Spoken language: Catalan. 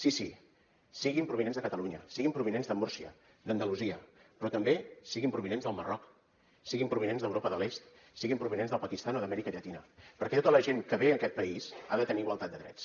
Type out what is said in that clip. sí sí siguin provinents de catalunya siguin provinents de múrcia d’andalusia però també siguin provinents del marroc siguin provinents d’europa de l’est siguin provinents del pakistan o d’amèrica llatina perquè tota la gent que ve a aquest país ha de tenir igualtat de drets